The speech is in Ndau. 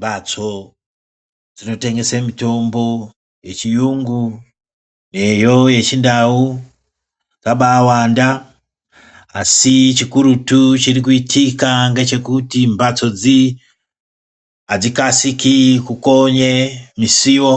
Mhatso dzinotenegese mitombo yechiyungu neyo yechindau yakaba yawanda, asi chikurutu chirikuitika ngechekuti mbatso dzi adzikasiki kukonye misuwo